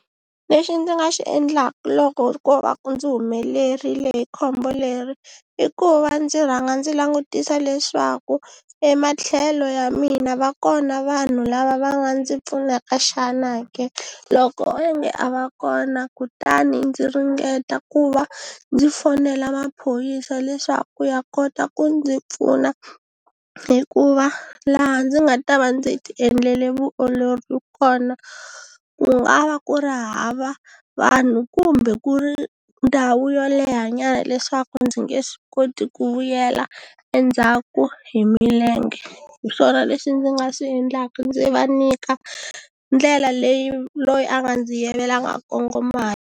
Lexi ndzi nga xi endlaka loko ko va ku ndzi humelerile hi khombo leri i ku va ndzi rhanga ndzi langutisa leswaku ematlhelo ya mina va kona vanhu lava va nga ndzi pfunaka xana ke loko onge a va kona kutani ndzi ringeta ku va ndzi fonela maphorisa leswaku ya kota ku ndzi pfuna hikuva laha ndzi nga ta va ndzi ti endlele vuolori kona ku nga va ku ri hava vanhu kumbe ku ri ndhawu yo leha nyana leswaku ndzi nge swi koti ku vuyela endzhaku hi milenge hi swona leswi ndzi nga swi endlaka ndzi va nyika ndlela leyi loyi a nga ndzi yivela a nga kongoma .